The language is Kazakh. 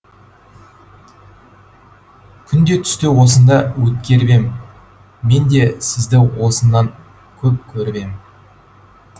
күнде түсті осында өткеріп ем мен де сізді осыннан көп көріп ем